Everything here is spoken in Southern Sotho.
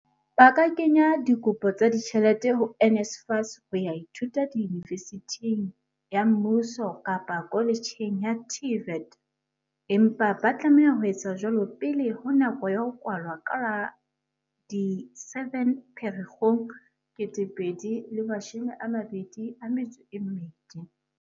Ba ka kenya dikopo tsa di tjhelete ho NSFAS ho ya ithuta yunivesithing ya mmuso kapa koletjheng ya TVET, empa ba tlameha ho etsa jwalo pele ho nako ya ho kwalwa ka la di 7 Pherekgong 2022.